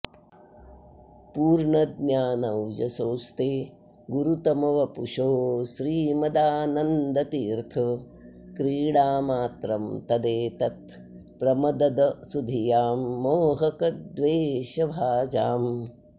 पूर्णज्ञानौजसोस्ते गुरुतमवपुषोः श्रीमदानन्दतीर्थ क्रीडामात्रं तदेतत् प्रमदद सुधियां मोहक द्वेषभाजाम्